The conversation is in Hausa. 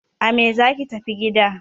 A me zaki tafi gida!